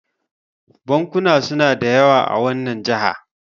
bankuna suna da yawa a wannan jaha